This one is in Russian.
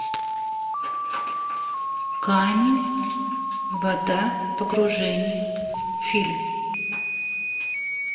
камень вода погружение фильм